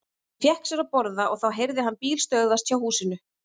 Hann fékk sér að borða og þá heyrði hann bíl stöðvast hjá húsinu.